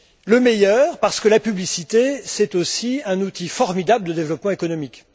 Le meilleur, parce que la publicité, c'est aussi un outil formidable de développement économique.